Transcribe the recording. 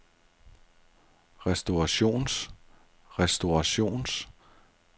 restaurations restaurations restaurations